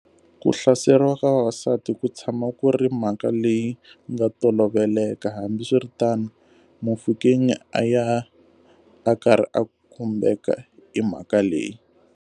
Ku hlaseriwa ka vavasati ku tshama ku ri mhaka leyi nga toloveleka, hambiswiritano, Mofokeng a ya a karhi a khumbeka hi mhaka leyi.